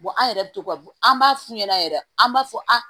an yɛrɛ bɛ to ka an b'a f'u ɲɛna yɛrɛ an b'a fɔ a